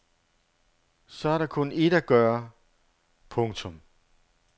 Så er der kun ét at gøre. punktum